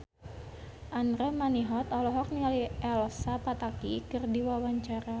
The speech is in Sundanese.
Andra Manihot olohok ningali Elsa Pataky keur diwawancara